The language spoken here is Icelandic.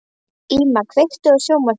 Íma, kveiktu á sjónvarpinu.